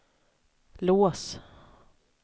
lås